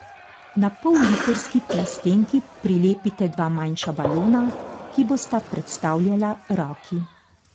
Na pollitrski plastenki prilepite dva manjša balona, ki bosta predstavljala roki.